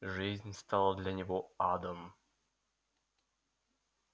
жизнь стала для него адом